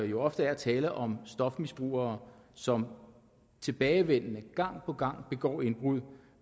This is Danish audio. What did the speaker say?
jo ofte er tale om stofmisbrugere som tilbagevendende gang på gang begår indbrud